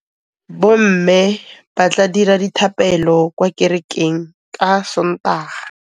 Bommê ba tla dira dithapêlô kwa kerekeng ka Sontaga.